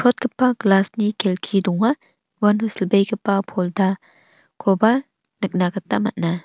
glass-ni kelki donga uano silbegipa poldakoba nikna gita man·a.